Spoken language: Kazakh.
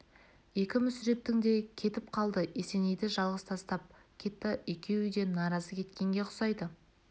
екі мүсірептің де кетіп қалды есенейді жалғыз тастап кетті екеуі де наразы кеткенге ұсайды